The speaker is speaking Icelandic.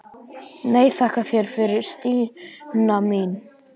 Nei, þakka þér fyrir Stína mín.